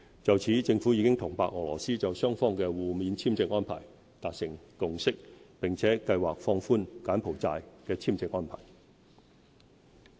就此，政府已與白俄羅斯就雙方的互免簽證安排達成共識，並計劃放寬柬埔寨簽證安排。